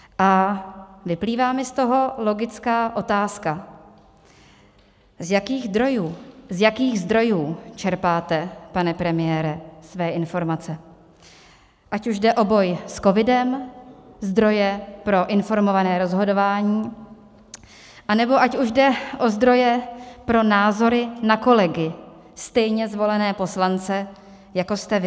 A vyplývá mi z toho logická otázka, z jakých zdrojů čerpáte, pane premiére, své informace, ať už jde o boj s covidem, zdroje pro informované rozhodování, anebo ať už jde o zdroje pro názory na kolegy, stejně zvolené poslance, jako jste vy.